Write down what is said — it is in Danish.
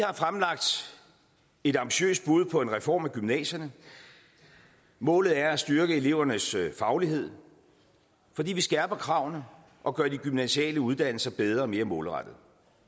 har fremlagt et ambitiøst bud på en reform af gymnasierne målet er at styrke elevernes faglighed fordi vi skærper kravene og gør de gymnasiale uddannelser bedre og mere målrettede